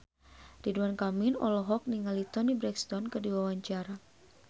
Ridwan Kamil olohok ningali Toni Brexton keur diwawancara